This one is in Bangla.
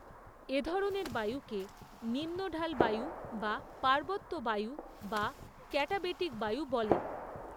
এ ধরণের বায়ুকে নিম্নঢাল বায়ু বা পার্বত্য বায়ু বা ক্যাটাবেটিক বায়ু বলে।